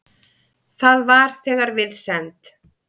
Það var þegar við send